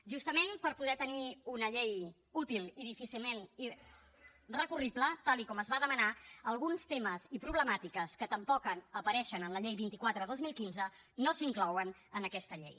justament per poder tenir una llei útil i difícilment recurrible tal com es va demanar alguns temes i problemàtiques que tampoc apareixen en la llei vint quatre dos mil quinze no s’inclouen en aquesta llei